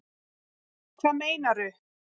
Hvað meinaru